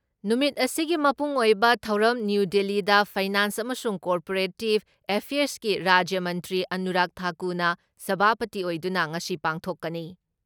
ꯅꯨꯃꯤꯠ ꯑꯁꯤꯒꯤ ꯃꯄꯨꯡ ꯑꯣꯏꯕ ꯊꯧꯔꯝ ꯅ꯭ꯌꯨ ꯗꯤꯜꯂꯤꯗ ꯐꯩꯅꯥꯟꯁ ꯑꯃꯁꯨꯡ ꯀꯣꯑꯣꯄꯔꯦꯇꯤꯞ ꯑꯦꯐꯤꯌꯔꯁꯀꯤ ꯔꯥꯖ꯭ꯌ ꯃꯟꯇ꯭ꯔꯤ ꯑꯅꯨꯔꯥꯛ ꯊꯥꯀꯨꯅ ꯁꯚꯥꯄꯇꯤ ꯑꯣꯏꯗꯨꯅ ꯉꯁꯤ ꯄꯥꯡꯊꯣꯛꯀꯅꯤ ꯫